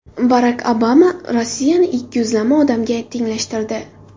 Barak Obama Rossiyani ikkiyuzlama odamga tenglashtirdi.